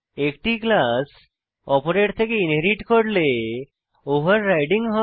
একটি ক্লাস অপরের থেকে ইনহেরিট করলে ওভাররাইডিং হয়